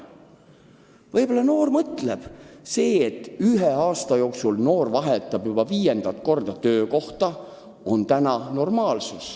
Võib-olla noore inimese arvates on see, et ta ühe aasta jooksul vahetab viis korda töökohta, normaalne.